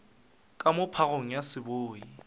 ka moo phagong ya seboi